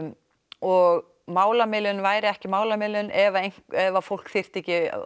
og málamiðlun væri ekki málamiðlun ef ef fólk þyrfti ekki